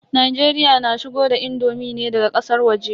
Najeriya na shigo da indomi ne daga ƙasar waje.